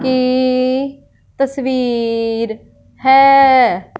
ये तस्वीर है।